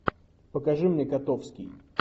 покажи мне котовский